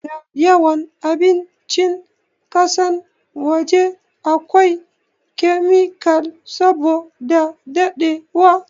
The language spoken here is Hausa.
da yawan abincin kasan waje a kwai kemikal saboda dadewa